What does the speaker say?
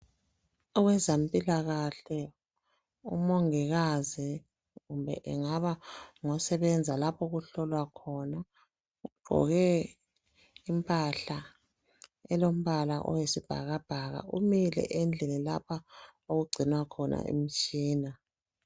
Owezempilakahle umongikazi kumbe engaba ngosebenza lapha okuhlola khona ugqoke impahla elombala oyisibhakabhaka umile endlini lapha okugcinwa khona imitshina.